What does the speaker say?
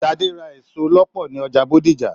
Sadé Ra èso lọpọ ní ọjà Bódìjà.